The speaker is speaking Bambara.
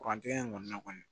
Kurantigɛ in kɔni na kɔni